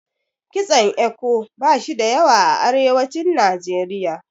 Kitson Eko bashi da yawa a arewacin Najeriya.